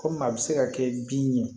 Komi a bɛ se ka kɛ bin ye